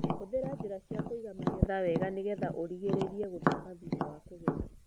Hũthĩra njĩra cia kũiga magetha wega nĩgetha ũrigĩrĩrie gũthũka thutha wa kũgetha.